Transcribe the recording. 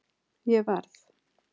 Ég verð